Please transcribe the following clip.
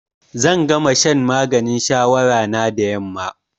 Zan gama shan maganin shawara na da yamma.